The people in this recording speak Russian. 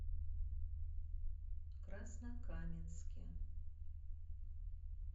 краснокаменске